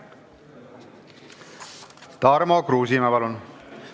Tarmo Kruusimäe, palun!